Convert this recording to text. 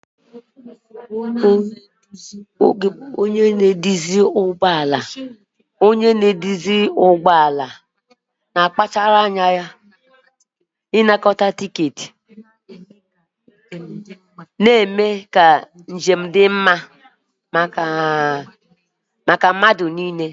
Onye na-eduzi ụgbọ ala na-akpachara anya na-anakọta tiketi, na-eme ka njem dị mma maka mmadụ niile.